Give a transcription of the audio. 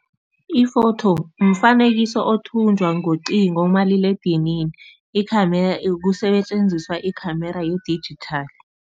Iphotho mfanekiso othunjwa ngocingo, umaliledinini, i-camera kusetjenziswa i-camera ye-digital.